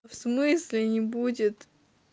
в смысле не будет